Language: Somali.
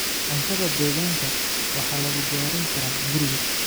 Cuntada deegaanka waxaa lagu diyaarin karaa guriga.